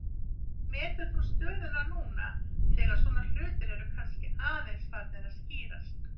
Hvernig metur þú stöðuna núna þegar svona hlutir eru kannski aðeins farnir að skýrast?